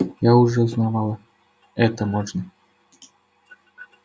я уже узнавала это можно